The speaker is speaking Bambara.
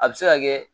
A bɛ se ka kɛ